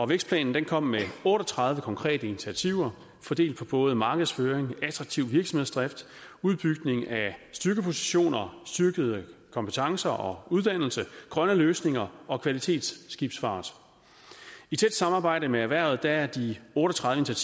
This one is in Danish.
vækstplanen kom med otte og tredive konkrete initiativer fordelt på både markedsføring attraktiv virksomhedsdrift udbygning af styrkepositioner styrkede kompetencer og uddannelser grønne løsninger og kvalitetsskibsfart i tæt samarbejde med erhvervet er de otte og tredive